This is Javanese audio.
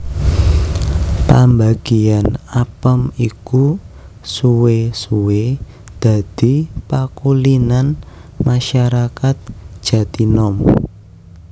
Pambagéyan apem iku suwé suwé dadi pakulinan masarakat Jatinom